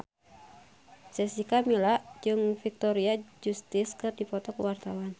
Jessica Milla jeung Victoria Justice keur dipoto ku wartawan